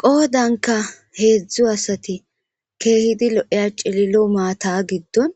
Qoodanka heedzdzu asati keehidi lo'iya cililo maata giddon